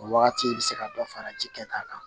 O wagati i bɛ se ka dɔ fara ji kɛ ta kan